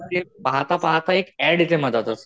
ते पाहता पाहता एक ऍड येते मधातच.